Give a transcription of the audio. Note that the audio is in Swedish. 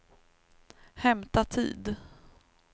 hämta tid